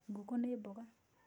Ngũkũ nĩ mboga